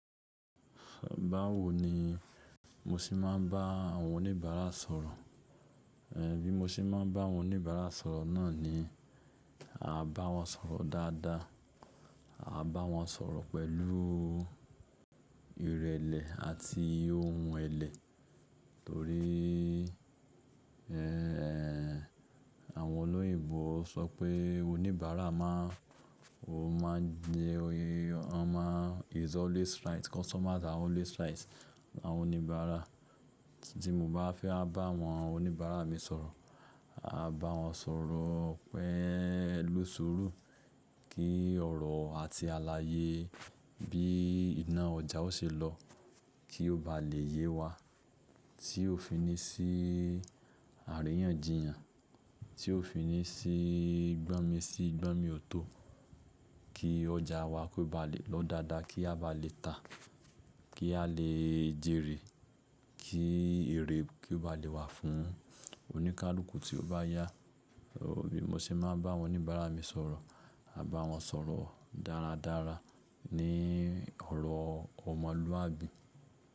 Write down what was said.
Báwo ni mo ṣe máa ń bá àwọn oníbàárà sọ̀rọ̀? Bí mo ṣe máa ń bá àwọn oníbàárà sọ̀rọ̀ náà ni, à bá wọn sọ̀rọ̀ dáadáa, à bá wọn sọ̀rọ̀ pẹ̀lú ìrẹ̀lẹ̀ àti ohun ẹlẹ̀ torí, ẹ́, àwọn olóyinbo sọ pé oníbàárà máa ń, ó máa ń jẹ oyè, won máa ń, is always right, customers are always right. Àwọn oníbàárà tí mo bá fẹ́ máa bá àwọn oníbàárà mi sọ̀rọ̀, à bá wọn sọ̀rọ̀ pẹ̀lú sùúrù kí ọ̀rọ̀ àti aláyé bí iná ọjà ó ṣe lọ kí ó bá lè yé wa, tí ó fi ní sí àríyànjiyàn, tí ó fi ní sí gbọ́nmi sí gbọ́nmi ò tó, kí ọjà wa kó ba lè lọ dáadáa, kí a bá lè tà, kí a lè jèrè, kí èrè kí ó bá lè wà fún oníkálukú tí ó bá yá. Bí mo ṣe máa ń bá àwọn oníbàárà mi sọ̀rọ̀, à bá wọn sọ̀rọ̀ dáradára ní ọ̀rọ̀ ọmọlúwàbí.